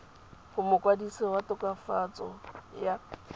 go mokwadise wa tokafatso ya